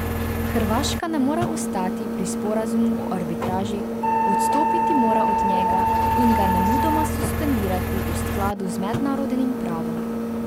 Hrvaška ne more ostati pri sporazumu o arbitraži, odstopiti mora od njega in ga nemudoma suspendirati v skladu z mednarodnim pravom.